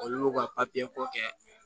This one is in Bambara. Olu y'u ka ko kɛ